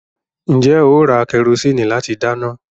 Ǹjẹ́ ó ra kẹrosíìnì láti dáná?